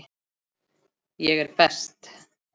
Ég er best.